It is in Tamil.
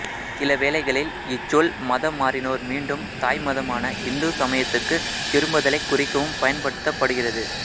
சில வேளைகளில் இச் சொல் மதம் மாறினோர் மீண்டும் தாய் மதமான இந்து சமயத்துக்குத் திரும்புதலைக் குறிக்கவும் பயன்படுத்தப்படுகிறது